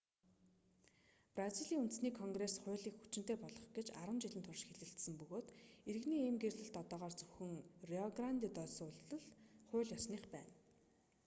бразилийн үндэсний конгресс хуулийг хүчинтэй болгох гэж 10 жилийн турш хэлэлцсэн бөгөөд иргэний ийм гэрлэлт одоогоор зөвхөн рио гранде до сулд л хууль ёсных байна